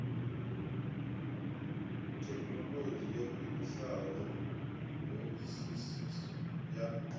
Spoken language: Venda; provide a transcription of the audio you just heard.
thekhinolodzhi yo khwiniseaho hoisiso ya